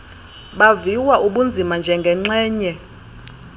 baviwa ubunzima njengenxgenye